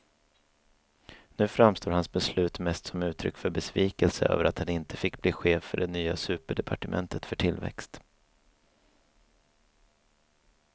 Nu framstår hans beslut mest som uttryck för besvikelse över att han inte fick bli chef för det nya superdepartementet för tillväxt.